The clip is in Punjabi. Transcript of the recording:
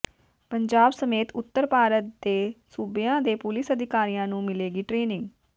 ਪੰਜਾਬ ਸਮੇਤ ਉੱਤਰ ਭਾਰਤ ਦੇ ਸੂਬਿਆਂ ਦੇ ਪੁਲੀਸ ਅਧਿਕਾਰੀਆਂ ਨੂੰ ਮਿਲੇਗੀ ਟ੍ਰੇਨਿੰਗ